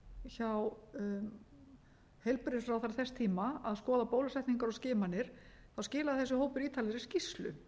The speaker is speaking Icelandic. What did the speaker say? hjá heilbrigðisráðherra þess tíma að skoða bólusetningar og skimanir þá skilaði þessi hópur ítarlegri skýrslu